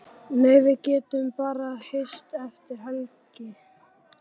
Nei, við getum bara hist eftir helgina.